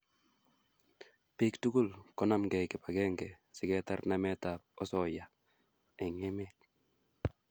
pik tukul konamkei kipakenge siketar namet ap osoya eng emet